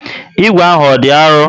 Ígwè ahụ ọ dị arụ?